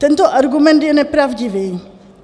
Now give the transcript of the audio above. Tento argument je nepravdivý.